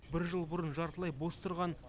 бір жыл бұрын жартылай бос тұрған